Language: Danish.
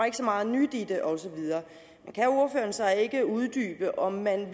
ikke så meget nyt i det og så videre kan ordføreren så ikke uddybe om man